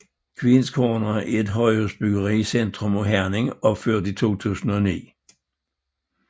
Queens Corner er et højhusbyggeri i centrum af Herning opført i 2009